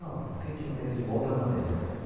Não, porque a gente não pensa de uma outra maneira.